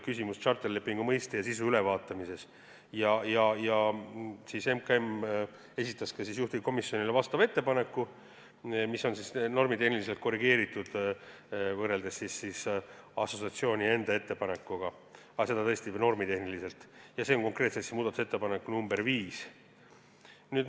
Küsimus oli tšarterlepingu mõiste ja sisu ülevaatamises ning MKM esitas juhtivkomisjonile vastava ettepaneku, mida on normitehniliselt korrigeeritud võrreldes assotsiatsiooni enda ettepanekuga – aga tõesti üksnes normitehniliselt –, ja see on konkreetselt muudatusettepanek nr 5.